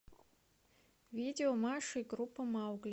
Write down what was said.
видео маша и группа маугли